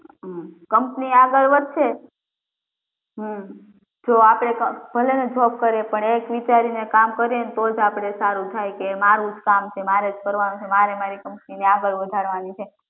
company આગળ વધશે હમ્મ તો આપડે ભલે ને job કરીએ પણ એક વિચારીન કામ કરીએ તો જ આપડે સારું થાય કે મારું જ કામ છે મારે જ કરવાનું છે મારે મારી company ને આગળ વધારવાની છે